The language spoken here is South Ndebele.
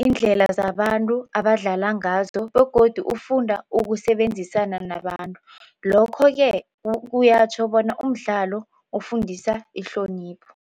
iindlela zabantu abadlala ngazo begodu ufunda ukusebenzisana nabantu, lokho-ke kuyatjho bona umdlalo ufundisa ihlonipho.